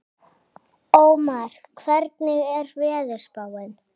Ómar, hvernig er veðurspáin?